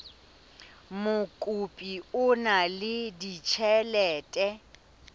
mokopi o na le ditjhelete